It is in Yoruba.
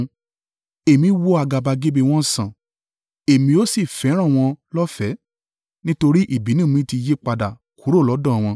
“Èmi wo àgàbàgebè wọn sàn, Èmi ó sì fẹ́ràn wọn, lọ́fẹ̀ẹ́, nítorí ìbínú mi ti yípadà kúrò lọ́dọ̀ wọn.